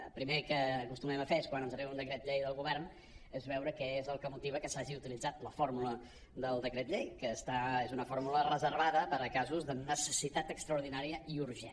el primer que acostumem a fer quan ens arriba un decret llei del govern és veure què és el que motiva que s’hagi utilitzat la fórmula del decret llei que és una fórmula reservada per a casos de necessitat extraordinària i urgent